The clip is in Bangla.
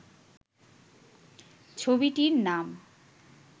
ছবিটির নাম